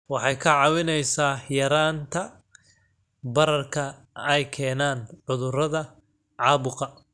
Waxay kaa caawinaysaa yaraynta bararka ay keenaan cudurrada caabuqa.